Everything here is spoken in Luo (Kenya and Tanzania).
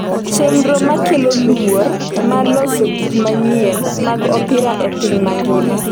chenro makelo luor mar loso gik manyien mag opira e piny mangima